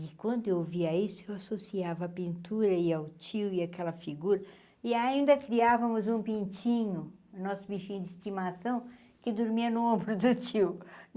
E quando eu ouvia isso, eu associava a pintura e ao tio e àquela figura e ainda criávamos um pintinho, o nosso bichinho de estimação, que dormia no ombro do tio.